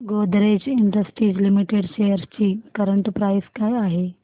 Godrej Industries Limited shares ची current price काय आहे